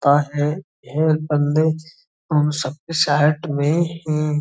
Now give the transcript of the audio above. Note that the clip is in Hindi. हे बन्दे हम सबके साथ में एं --